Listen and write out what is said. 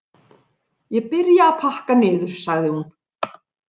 Ég byrja að pakka niður, sagði hún.